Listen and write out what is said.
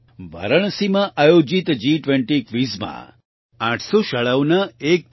વારાણસીમાં આયોજિત G20 Quizમાં 800 શાળાઓના 1